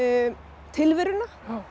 tilveruna